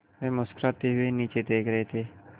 वे मुस्कराते हुए नीचे देख रहे थे